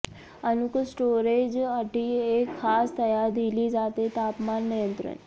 अनुकूल स्टोरेज अटी एक खास तयार दिली जाते तापमान नियंत्रण